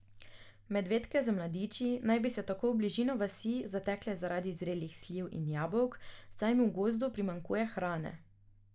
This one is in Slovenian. Medvedke z mladiči naj bi se tako v bližino vasi zatekle zaradi zrelih sliv in jabolk, saj jim v gozdu primanjkuje hrane.